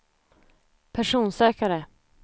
personsökare